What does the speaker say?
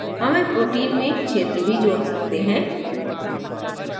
हम एक protein में क्षेत्र भी जोड़ सकते हैं